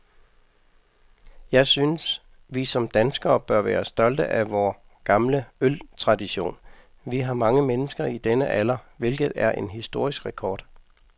Jeg synes, vi som danskere bør være stolte af vor gamle øltradition. Vi har mange mennesker i denne alder, hvilket er en historisk rekord.